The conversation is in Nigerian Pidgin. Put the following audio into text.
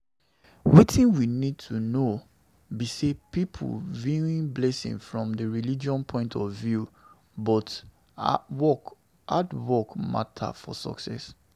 Wetin we need to know be say pipo view blessing from di religious point of view but hard work matter for success